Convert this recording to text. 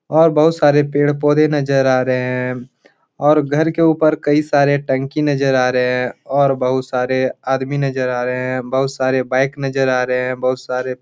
और बहुत सारे पेड़ पौधे नजर आ रहे हैं और घर के ऊपर कई सारे टंकी नजर आ रहे हैं और बहुत सारे आदमी नजर आ रहे हैं बहुत सारे बाइक नजर आ रहे हैं बहुत सारे --